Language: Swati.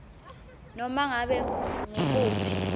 nobe ngabe ngukuphi